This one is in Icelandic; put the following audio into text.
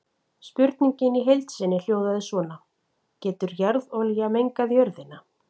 Spurningin í heild sinni hljóðaði svona: Getur jarðolía mengað jörðina?